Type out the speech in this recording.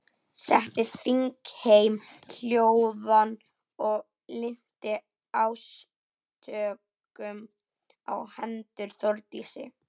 Setti þingheim hljóðan og linnti ásökunum á hendur Þórdísi.